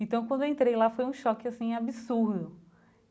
Então, quando eu entrei lá, foi um choque, assim, absurdo.